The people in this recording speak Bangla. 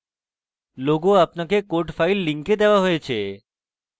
logo আপনাকে code files link দেওয়া হয়েছে